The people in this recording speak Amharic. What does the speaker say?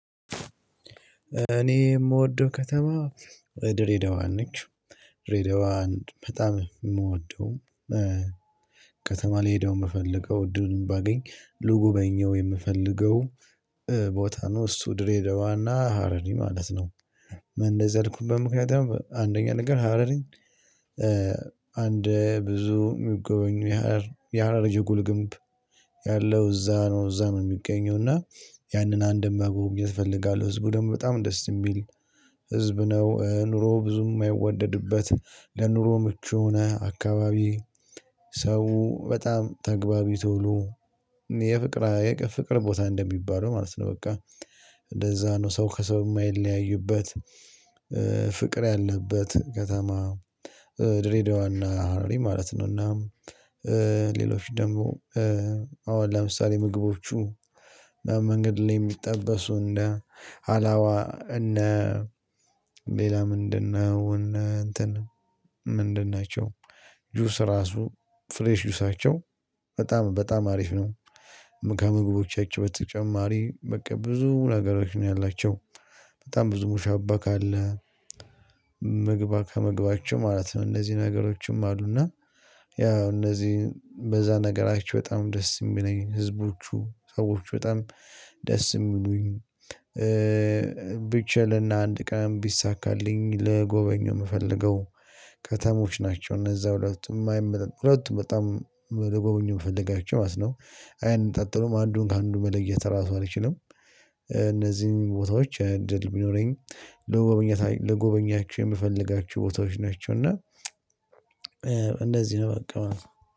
እኔ የምወደው ከተማ ድሬዳዋን ነች ድሬዳዋ ናትበጣም እምወደው። ከተማ ሊሄደው የምፈልገው እድሉን ባገኝ ልጉበኘው የምፈልገው ቦታ ነው እሱ ድሬደዋና ሀረሪ ማለት ነው። በእንደዛ ያልኩበት ምክንያት አንደኛ ነገር ሀረሪኝ። አንድ ብዙ የሚጎበኙ የሀረር የሀረር ጀጉል ግምብ ያለው እዛ ነው እዛ ነው የሚገኘው። እና ያንን አንድም መጎብኘት እፈልጋለሁ። ህዝቡ ደግሞ በጣም ደስ የሚል ህዝብ ነው። ኑሮው ብዙም ማይወደድበት ለኑሮ ምቹ የሆነ አካባቢ። ሰው በጣም ተግባቢ ተውሎ የፍቅር ፍቅር ቦታ እንደሚባለው ማለት ነው። በቃ እንደዛ ነው። ሰው ከሰው የማይለያዩበት ፍቅር ያለበት ከተማ። ድሬዳዋና ሀረሪ ማለት ነው። እና ሌሎች ደግሞ አሁን ለምሳሌ ምግቦቹ መንገድ ላይ የሚጠበሱ እንደ አላዋ እነ ሌላ ምንድነው? እነ እንትን ምንድን ናቸው? ጁስ ራሱ ፍሬሽ ጁሳቸው በጣም በጣም አሪፍ ነው። ከምግቦቻቸው በተጨማሪ በቃ ብዙ ነገሮች ነው ያላቸው። በጣም ብዙ ሙሻባ ካለ ምግባ ከመግባቸው ማለት ነው። እነዚህ ነገሮችም አሉና። ያው እነዚህ በዛ ነገራችሁ በጣም ደስ የሚለኝ ህዝቦቹ ሰዎች በጣም ደስ የሚሉኝ። ብቻ ለና አንድ ቀን ቢሳካልኝ ለጎበኘው የምፈልገው ከተሞች ናቸው። እነዛ ሁለቱም አይመጣ ሁለቱም በጣም ልጎበኝ የምፈልጋቸው ማለት ነው። አይነጣጠሉም አንዱን ከአንዱ መለየት ራሱ አልችልም። እነዚህን ቦታዎች እድል ቢኖረኝ ለጎበኛ ለጎበኛቸው የምፈልጋችሁ ቦታዎች ናቸው። እና እንደዚህ ነው። በቃ